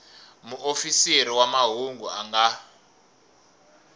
muofisiri wa mahungu a nga